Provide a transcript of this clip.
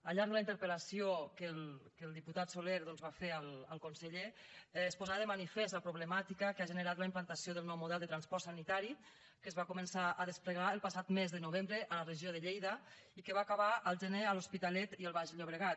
al llarg de la interpel·lació que el diputat soler doncs va fer al conseller es posava de manifest la problemàtica que ha generat la implantació del nou model de transport sanitari que es va començar a desplegar el passat mes de novembre a la regió de lleida i que va acabar el gener a l’hospitalet i al baix llobregat